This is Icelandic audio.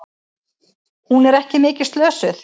Hún er ekki mikið slösuð.